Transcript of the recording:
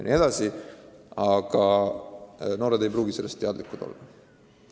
Noored ei pruugi nendest meetmetest teadlikud olla.